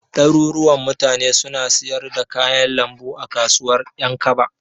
Ɗaruruwan mutane suna siyar da kayan lambu a kasuwar Ƴankaba.